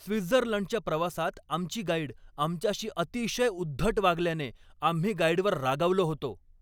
स्वित्झर्लंडच्या प्रवासात आमची गाईड आमच्याशी अतिशय उद्धट वागल्याने आम्ही गाईडवर रागावलो होतो.